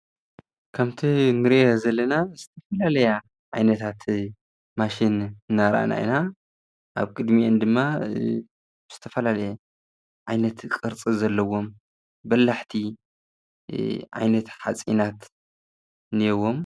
ከምቲ እንግርያ ዘለና ስተፈላለያ ኣይነታቲ ማሽን እናራእናእና ኣብ ቅድሚኦን ድማ ስተፈላለያ ኣይነቲ ቕርጽ ዘለዎም በላሕቲ ኣይነት ሓጺእናት ነይዎም